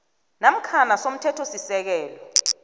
namkha i somthethosisekelo